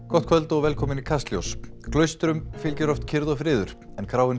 gott kvöld og velkomin í Kastljós klaustrum fylgir oft kyrrð og friður en kráin